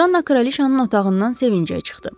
Janna kraliçanın otağından sevincə çıxdı.